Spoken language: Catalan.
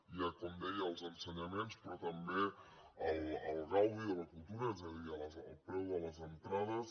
hi ha com deia els ensenyaments però també el gaudi de la cultura és a dir el preu de les entrades